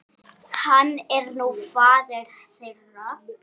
Hann er nú faðir þeirra.